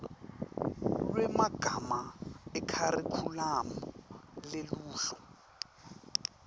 lwemagama ekharikhulamu neluhlolo